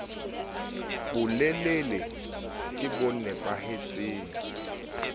bolelele ke bo nepa hetseng